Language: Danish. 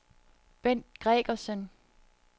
Bendt Gregersen